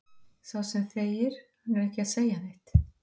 Sá sem þegir, hann er ekki að segja neitt.